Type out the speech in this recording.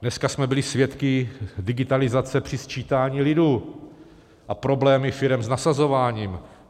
Dneska jsme byli svědky digitalizace při sčítání lidu a problémy firem s nasazováním.